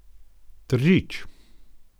Tržič.